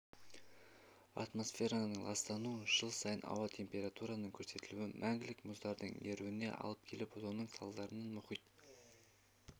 атмосфераның ластануы жыл сайын ауа температурасының көтерілуі мәңгілік мұздардың еруіне алып келіп соның салдарынан мұхит